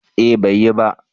eh bai yi ba